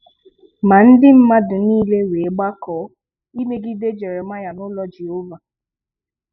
Ma ndị mmadụ niile wee gbakọọ imegide Jeremaia n'ulo Jehova.